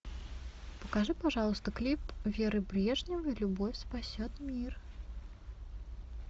покажи пожалуйста клип веры брежневой любовь спасет мир